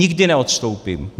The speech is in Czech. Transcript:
Nikdy neodstoupím.